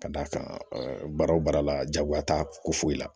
Ka d'a kan baara o baara la jagoya t'a ko foyi la